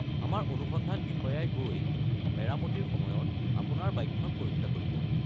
আমাৰ অনুসন্ধান বিষয়াই গৈ মেৰামতিৰ সময়ত আপোনাৰ বাইকখন পৰীক্ষা কৰিব।